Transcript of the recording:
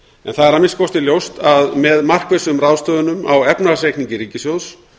það er að minnsta kosti ljóst að með markvissum ráðstöfunum á efnahagsreikningi ríkissjóðs